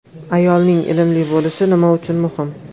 Ayolning ilmli bo‘lishi nima uchun muhim?